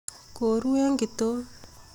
Koru eng kitok